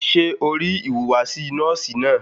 Ṣẹ́ o rí ìhùwàsí nọ́ọ̀sì náà?